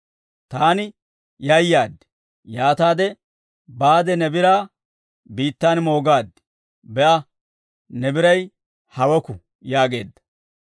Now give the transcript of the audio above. Taani yayaad; yaataade baade ne biraa biittaan moogaad; be'a, ne biray haweku› yaageedda.